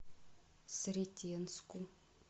сретенску